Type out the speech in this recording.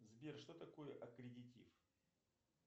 сбер что такое аккредитив